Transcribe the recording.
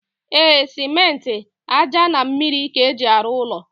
E, simenti, aja na mmiri ka eji aru ụlọ.